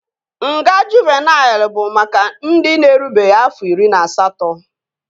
Nga Juuvenịl bụ maka ndị na-erubeghị afọ iri na asatọ